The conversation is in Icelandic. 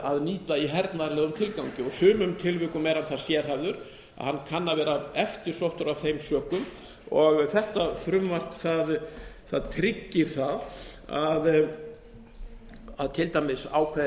að nýta í hernaðarlegum tilgangi og í sumum tilvikum er hann það sérhæfður að hann kann að vera eftirsóttur af þeim sökum og þetta frumvarp tryggir það að til dæmis ákveðin